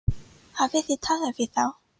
Hafið þið talað við þá?